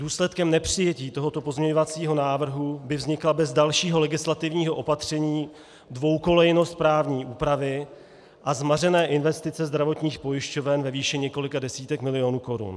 Důsledkem nepřijetí tohoto pozměňovacího návrhu by vznikla bez dalšího legislativního opatření dvoukolejnost právní úpravy a zmařené investice zdravotních pojišťoven ve výši několika desítek milionů korun.